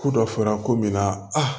Ku dɔ fɔra ko min na